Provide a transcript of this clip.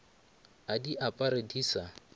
a di apare di sa